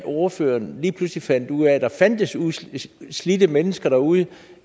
ordføreren lige pludselig fandt ud af at der fandtes slidte mennesker derude